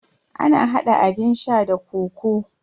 Ana hada abun sha da kokoo.